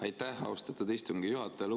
Aitäh, austatud istungi juhataja!